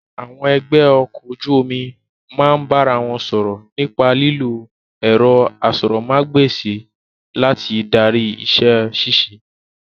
Àwọn ẹgbẹ́ ọkọ̀ ojú omi máa ń bá ara wọn sọ̀rọ̀ nípa lílo ẹ̀rọ asọ̀rọ̀mágb'èsì láti darí iṣẹ́ ṣíṣe